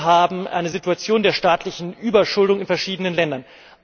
Wir haben eine Situation der staatlichen Überschuldung in verschiedenen Ländern.